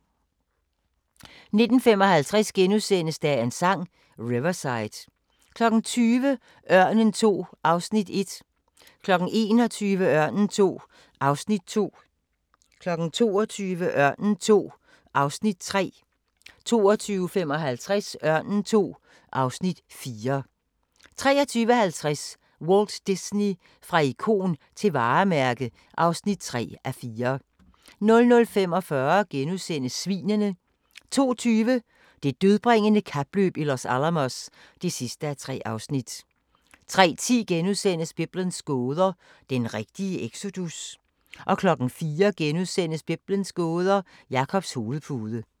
19:55: Dagens Sang: Riverside * 20:00: Ørnen II (Afs. 1) 21:00: Ørnen II (Afs. 2) 22:00: Ørnen II (Afs. 3) 22:55: Ørnen II (Afs. 4) 23:50: Walt Disney – fra ikon til varemærke (3:4) 00:45: Svinene * 02:20: Det dødbringende kapløb i Los Alamos (3:3) 03:10: Biblens gåder – den rigtige exodus? * 04:00: Biblens gåder – Jakobs hovedpude *